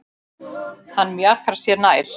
Hann mjakar sér nær.